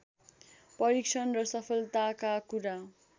परीक्षण र सफलताका कुरा